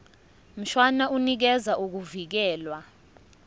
mshwana unikeza ukuvikelwa